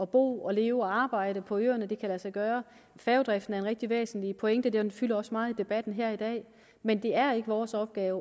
bo og leve og arbejde på øerne kan lade sig gøre færgedriften er en rigtig væsentlig pointe den fylder også meget i debatten her i dag men det er ikke vores opgave